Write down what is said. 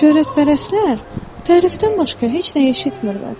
Şöhrətpərəstlər tərifdən başqa heç nə eşitmirlər.